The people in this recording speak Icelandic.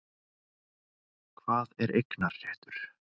Hvað er eignarréttur?